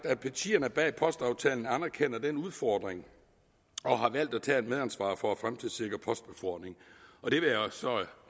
at partierne bag postaftalen anerkender den udfordring og har valgt at tage et medansvar for at fremtidssikre postbefordringen